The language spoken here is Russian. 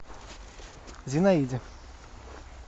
зинаиде